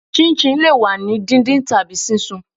chinchin le wa ni díndín tabi sisún